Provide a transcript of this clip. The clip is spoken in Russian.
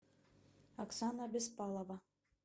оксана беспалова